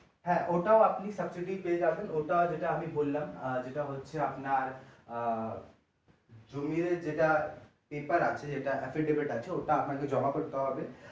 হ্যাঁ ওটাও আপনি subsidy পেয়ে যাবেন ওটা যেটা আমি বললাম আহ যেটা হচ্ছে আপনার আরআহ জমির যেটা paper আছে যেটা EPID OPID আছে ওটা জমা করতে হবে।